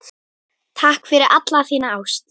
Takk fyrir alla þína ást.